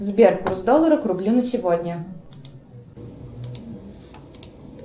сбер курс доллара к рублю на сегодня